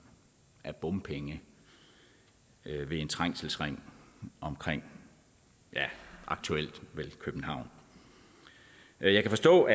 af bompenge ved en trængselsring omkring ja aktuelt vel københavn jeg kan forstå